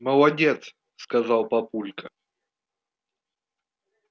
молодец сказал папулька